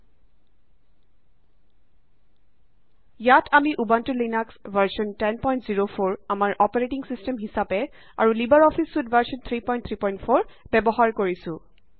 ইয়াত আমি Ubuntu Linux version 1004 আমাৰ অপাৰেটিং ছিষ্টেম হিচাপে আৰু লিবাৰ অফিচ ছুইট ভাৰ্জন 334 ব্যৱহাৰ কৰিছো